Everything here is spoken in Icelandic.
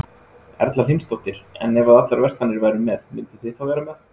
Erla Hlynsdóttir: En ef að allar verslanir væru með, mynduð þið þá vera með?